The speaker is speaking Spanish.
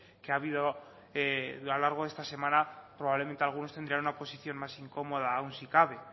que ha habido a lo largo de esta semana probablemente algunos tendrían una posición más incómoda aún si cabe